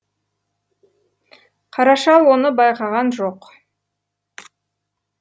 қара шал оны байқаған жоқ